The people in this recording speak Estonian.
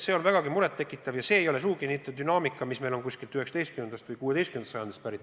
See on vägagi muret tekitav ja see ei ole sugugi dünaamika, mis on süvenenud alates näiteks 19. või 16. sajandist.